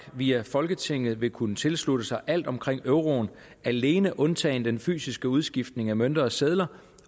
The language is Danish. via folketinget vil kunne tilslutte sig alt omkring euroen alene undtagen den fysiske udskiftning af mønter og sedler